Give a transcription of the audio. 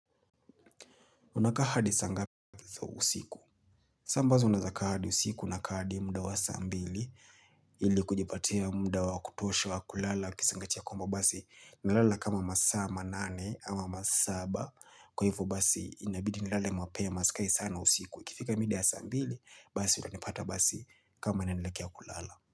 Unakaa hadi sa ngapi za usiku? Saa ambazo naeza kaa hadi usiku nakaa hadi muda wa saa mbili ili kujipatia muda wa kutosha wa kulala kisingachia kwamba basi, nalala kama masaa manane ama masaba kwa hivyo basi inabidi nilale mapema sikai sana usiku. Ikifika mida ya saa mbili basi utanipata basi kama ninanelekea kulala.